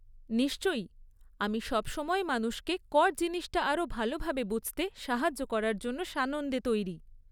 নিশ্চয়ই, আমি সবসময় মানুষকে কর জিনিসটা আরও ভালভাবে বুঝতে সাহায্য করার জন্য সানন্দে তৈরি।